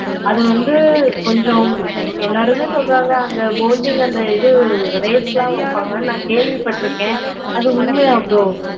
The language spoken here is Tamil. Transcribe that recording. அது வந்து கொஞ்சம் எல்லாருமே சொல்றாங்க அங்க boating அது race எல்லாம் வைப்பாங்க. அது உண்மையா bro